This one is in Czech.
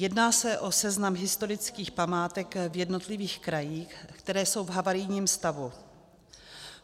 Jedná se o seznam historických památek v jednotlivých krajích, které jsou v havarijním stavu.